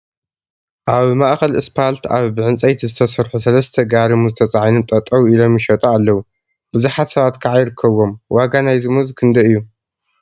አብ ማእከል እስፓልት አብ ብዕንፀይቲ ዝተሰርሑ ሰለስተ ጋሪ ሙዝ ተፃዒኖም ጠጠው ኢሎም ይሸጡ አለው፡፡ ብዙሓት ሰባት ከዓ ይርከቡዎም፡፡ ዋጋ ናይዚ ሙዝ ክንደይ እዩ?